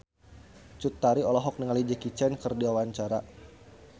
Cut Tari olohok ningali Jackie Chan keur diwawancara